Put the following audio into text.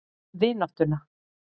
Um vináttuna.